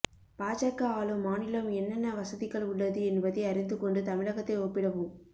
பாஜக ஆளும் மாநிலம் என்னென்ன வசதிகள் உள்ளது என்பதை அறிந்துகொண்டு தமிழகத்தை ஒப்பிடவும்